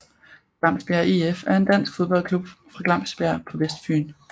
Glamsbjerg IF er en dansk fodboldklub fra Glamsbjerg på Vestfyn